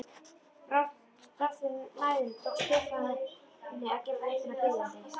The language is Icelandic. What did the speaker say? Þrátt fyrir mæðina tókst Stefáni að gera röddina biðjandi.